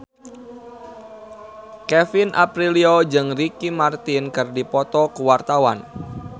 Kevin Aprilio jeung Ricky Martin keur dipoto ku wartawan